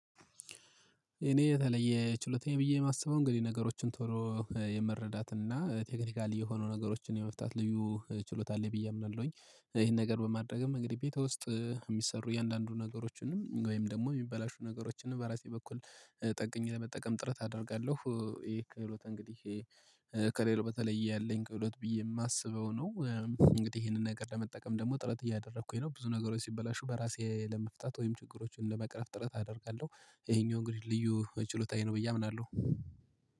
እኔ የተለየ ችሎታዬ ብዬ የማስበው እንግዲህ ነገሮችን ቶሎ የመረዳት እና ቴክኒካል የሆኑ ነገሮችን የመፍታት ልዩ ችሎታ አለ ብዬ አምናለሁኝ ይሄን ነገር በማድረግም እንግዲህ ቤት ውስጥ የሚሰሩ የእያንዳንዱ ነገሮችንም ወይም ደግሞ የሚበላሹ ነገሮችንም በራሴ በኩል ጠግኝ ለመጠቀም ጥረት አደርጋለሁ። ይሄ ክህሎት እንግዲህ ከሌላው በተለየ ያለኝ ክህሎት ብዬ የማስበው ነው። እንግዲህ ይሄንን ነገር ለመጠቀም ደግሞ ጥረት እያደረኩኝ ነው ብዙ ነገሮች ሲበላሹ በራሴ ለመፍታት ወይም ችግሮችን ለመቅረፍ ጥረት አደርጋለሁ። ይሄኛው እንግዲህ ልዩ ችሎታዬ ነው ብዬ አምናለሁ።